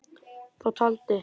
Þá taldi